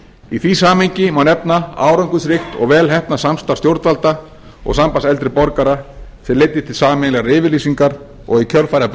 í því samhengi má nefna árangursríkt og vel heppnað samstarf stjórnvalda og s ambands eldri borgara sem leiddi til sameiginlegrar yfirlýsingar og í kjölfarið